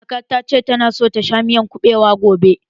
Kaka ta ce ta na so ta ci miyar kuɓewa gobe.